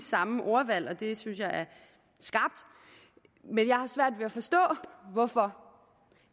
samme ordvalg og det synes jeg er skarpt men jeg har svært ved at forstå hvorfor